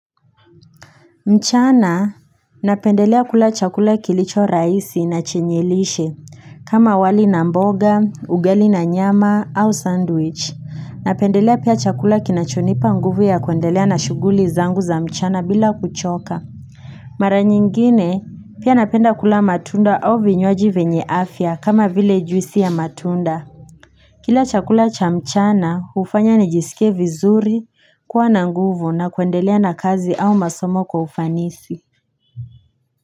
Mchana napendelea kula chakula kilicho raisi nachenyelishe kama wali na mboga ugali na nyama au sandwich napendelea pia chakula kinachonipa nguvu ya kuendelea na shuguli zangu za mchana bila kuchoka Mara nyingine pia napenda kula matunda au vinywaji vyenye afya kama vile juisi ya matunda Kila chakula cha mchana hufanya nijisike vizuri kuwa na nguvu na kuendelea na kazi au masomo kwa ufanisi.